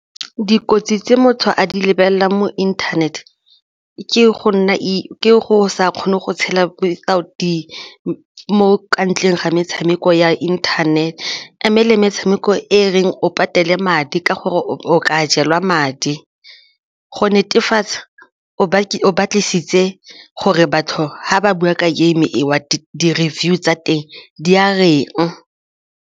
Dikotsi tse motho a di lebelelang mo internet ke go sa kgone go tshela mo ka ntleng ga metshameko ya internet-e le metshameko e reng o patele madi ka gore o ka jelwa madi, go netefatsa o batlisitse gore batho ga ba bua ka game eo di-reviews tsa teng di a reng.